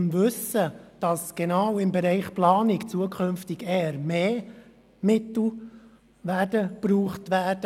Man wusste jedoch, dass genau im Bereich der Planung zukünftig eher mehr als weniger Mittel gebraucht werden.